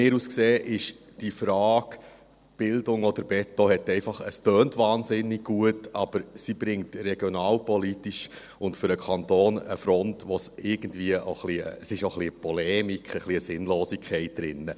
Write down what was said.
Aus meiner Sicht tönt die Frage «Bildung oder Beton?» einfach wahnsinnig gut, aber sie bringt regionalpolitisch und für den Kanton eine Front, in der auch eine gewisse Polemik und Sinnlosigkeit ist.